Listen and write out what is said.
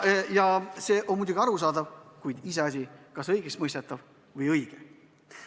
Ja see on muidugi arusaadav, kuid iseasi, kas õigeks mõistetav, õige.